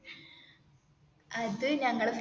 അത് ഞങ്ങള്